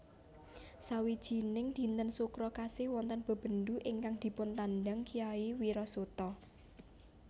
Sawijining dinten Sukra Kasih wonten bebendu ingkang dipuntandang Kyai Wirasuta